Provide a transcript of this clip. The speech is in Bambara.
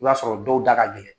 I b'a sɔrɔ dɔw da ka gɛlɛn.